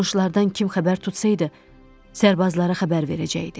Qonşulardan kim xəbər tutsaydı, Sərbazlara xəbər verəcəkdi.